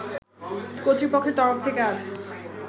কর্তৃপক্ষের তরফ থেকে আজ